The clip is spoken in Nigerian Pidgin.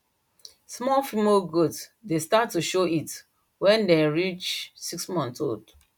small female goat dey start to show heat when dem reach six months old